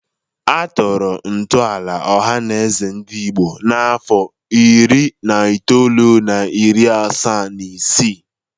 Atọrọ ntọala Ọhanaeze Ndigbo n'afọ iri na itoolu na iri asaa na isii.